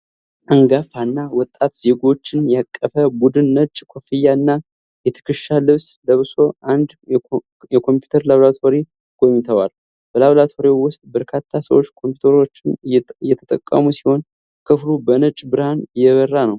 አንጋፋ እና ወጣት ዜጎችን ያቀፈ ቡድን ነጭ ኮፍያ እና የትከሻ ልብስ ለብሶ አንድ የኮምፒዩተር ላብራቶሪ ጎብኝተዋል። በላብራቶሪው ውስጥ በርካታ ሰዎች ኮምፒዩተሮችን እየተጠቀሙ ሲሆን፣ ክፍሉ በነጭ ብርሃን የበራ ነው።